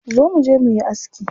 Zo muje muyi aski.